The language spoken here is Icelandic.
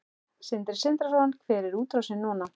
Sindri Sindrason: Hver er útrásin núna?